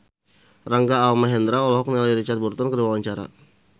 Rangga Almahendra olohok ningali Richard Burton keur diwawancara